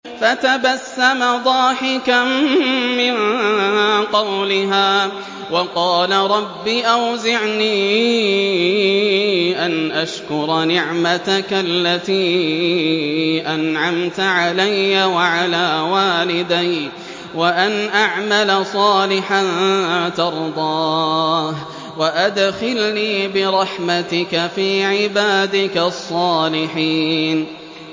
فَتَبَسَّمَ ضَاحِكًا مِّن قَوْلِهَا وَقَالَ رَبِّ أَوْزِعْنِي أَنْ أَشْكُرَ نِعْمَتَكَ الَّتِي أَنْعَمْتَ عَلَيَّ وَعَلَىٰ وَالِدَيَّ وَأَنْ أَعْمَلَ صَالِحًا تَرْضَاهُ وَأَدْخِلْنِي بِرَحْمَتِكَ فِي عِبَادِكَ الصَّالِحِينَ